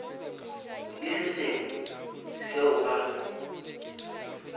le se sengwe seo ba